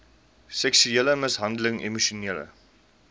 seksuele mishandeling emosionele